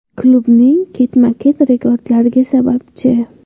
Klubning ketma-ket rekordlariga sababchi.